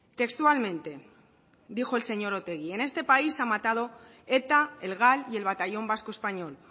textualmente dijo el señor otegi en este país ha matado eta el gal y el batallón vasco español